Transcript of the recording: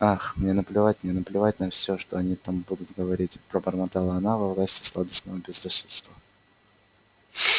ах мне наплевать мне наплевать на всё что они там будут говорить пробормотала она во власти сладостного безрассудства